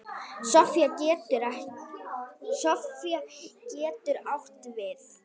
Sofía getur átt við